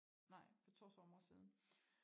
Nej for 2 somre siden